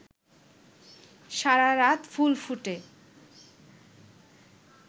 সারারাত ফুল ফুটে